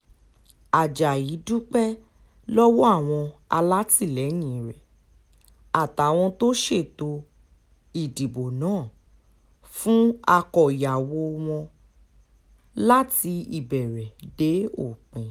ajayi dúpẹ́ lọ́wọ́ àwọn alátìlẹyìn rẹ̀ àtàwọn tó ṣètò ìdìbò náà fún àkọ́yàwó wọn láti ìbẹ̀rẹ̀ dé òpin